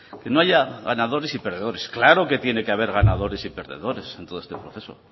que no haya ganadores y perdedores claro que tiene que haber ganadores y perdedores en todo este proceso